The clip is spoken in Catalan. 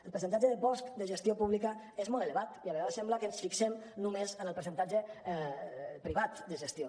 el percentatge de bosc de gestió pública és molt elevat i a vegades sembla que ens fixem només en el percentatge privat de gestió